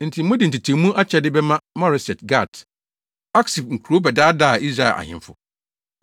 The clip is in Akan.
Enti mode ntetewmu akyɛde bɛma Moreset-Gat, Aksib kurow bɛdaadaa Israel ahemfo.